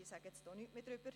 Mehr sage ich nicht dazu.